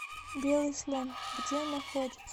белый слон где находится